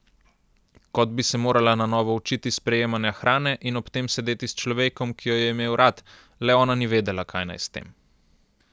Kot bi se morala na novo učiti sprejemanja hrane in ob tem sedeti s človekom, ki jo je imel rad, le ona ni vedela, kaj naj s tem.